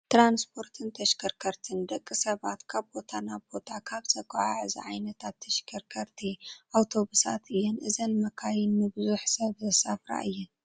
ትራንስፖርትን ተሽከርከርትን፡- ደቂ ሰባት ካብ ቦታ ናብ ቦታ ካብ ዘጓዓዕዛ ዓይነታት ተሽከርከርቲ ኣውቶብሳት እየን፡፡ እዘን መካይን ንብዙሕ ሰብ ዘሳፍራ እየን፡፡